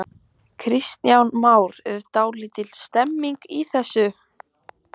Kristján Már: Er dálítil stemning í þessu?